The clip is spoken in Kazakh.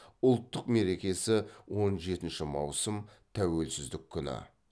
ұлттық мерекесі он жетінші маусым тәуелсіздік күні